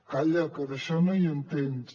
calla que d’això no hi entens